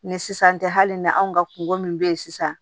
Ni sisan tɛ hali na anw ka kungo min bɛ yen sisan